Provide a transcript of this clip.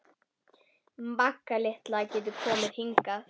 Magga litla getur komið hingað.